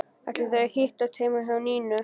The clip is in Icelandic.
Ætla þau að hittast heima hjá Nínu?